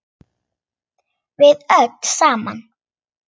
Við öll saman.